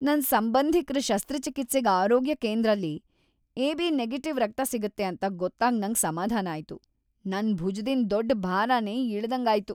ನನ್ ಸಂಬಂಧಿಕ್ರ ಶಸ್ತ್ರಚಿಕಿತ್ಸೆಗ್ ಆರೋಗ್ಯ ಕೇಂದ್ರಲಿ ಎಬಿ- ನೆಗೆಟಿವ್ ರಕ್ತ ಸಿಗುತ್ತೆ ಅಂತ ಗೊತ್ತಾಗ್ ನಂಗ್ ಸಮಾಧಾನ ಆಯ್ತು. ನನ್ ಭುಜದಿಂದ್ ದೊಡ್ ಬಾರನೆ ಇಳ್ದಂಗ್ ಆಯ್ತು.